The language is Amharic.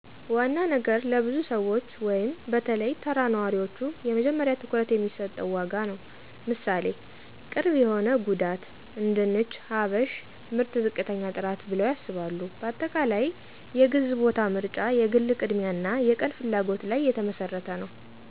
ዋና ነገር ለብዙ ሰዎች(በተለይ ተራ ነዋሪዎቹ )የመጀመሪያ ትኩረት የሚሰጠው ዋጋ ነዉ። ምሣሌ፦ ቅርብ የሆነ ጉዳት አነድንች "ሀበሽ ምርት ዝቅተኛ ጥራት ብለው ያስባሉ። በአጠቃላይ፣ የግዝ ቦታ ምርጫ የግል ቅድሚያ አና የቀን ፍላጎት ለይ የተመሰረተ ነዉ።